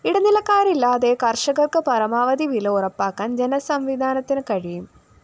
ഇടനിലക്കാരില്ലാതെ കര്‍ഷകര്‍ക്ക് പരമാവധി വില ഉറപ്പാക്കാന്‍ ജനസംവിധാനത്തിന് കഴിയും